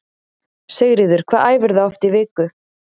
Sigríður: Hvað æfirðu oft í viku?